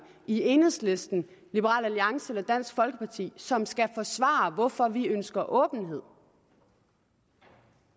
i enhedslisten liberal alliance eller dansk folkeparti som skal forsvare hvorfor vi ønsker åbenhed